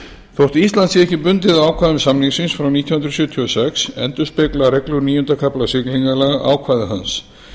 þótt ísland sé ekki bundið af ákvæðum samningsins frá nítján hundruð sjötíu og sex endurspegla reglur níunda kafla siglingalaga ákvæði hans